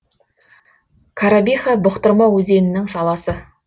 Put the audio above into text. коробиха бұқтырма өзенінің саласы